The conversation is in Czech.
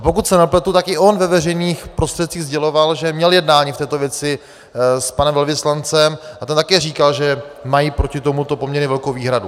A pokud se nepletu, tak i on ve veřejných prostředcích sděloval, že měl jednání v této věci s panem velvyslancem a ten také říkal, že mají proti tomuto poměrně velkou výhradu.